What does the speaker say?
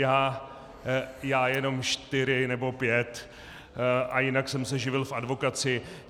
Já jenom čtyři nebo pět a jinak jsem se živil v advokacii.